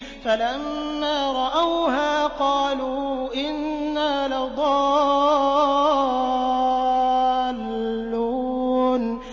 فَلَمَّا رَأَوْهَا قَالُوا إِنَّا لَضَالُّونَ